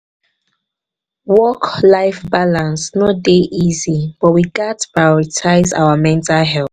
work-life balance no dey easy but we gats prioritize our mental health.